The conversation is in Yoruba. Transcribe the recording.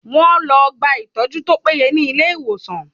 Wá lọ gba ìtọ́jú tó péye ní ilé ìwòsan.